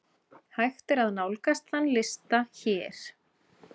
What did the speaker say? Hægt er nálgast þann lista hér.